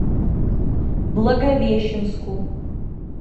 благовещенску